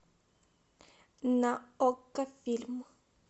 на окко фильм